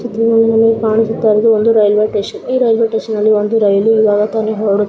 ಇದರಲ್ಲಿ ನಮಗೆ ಕಾಣುತ್ತಿರುವುದು ಒಂದು ರೈಲ್ವೆ ಟೇಷನ್ ಈ ರೈಲ್ವೆ ಟೇಷನ ಲ್ಲಿ ಒಂದು ರೈಲು ಈಗ ಹೋಗುತ್ತಿದೆ --